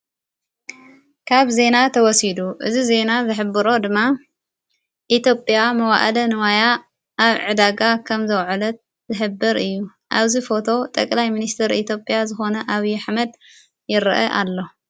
ካብ ዜና ተወሲዱ እዝ ዜይና ዝኅብሮ ድማ ኢቴዮጴያ መዋእደ ንዋያ ኣብ ዕዳጋ ከም ዘውዕለት ዘኅብር እዩ ኣብዚ ፎቶ ጠቕላይ ምንስተር ኢቴይፕጵያ ዝኾነ ኣብዪ ኣኅመድ ይርአ ኣሎ፡፡